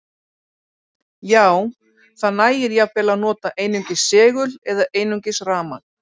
Já, það nægir jafnvel að nota einungis segul eða einungis rafmagn.